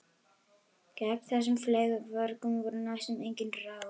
Gegn þessum fleygu vörgum voru næstum engin ráð.